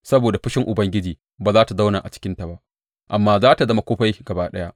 Saboda fushin Ubangiji ba za tă zauna a cikinta ba amma za tă zama kufai gaba ɗaya.